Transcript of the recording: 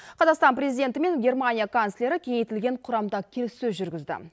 қазақстан президенті мен германия канцлері кеңейтілген құрамда келіссөз жүргізді